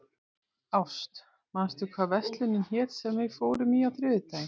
Ást, manstu hvað verslunin hét sem við fórum í á þriðjudaginn?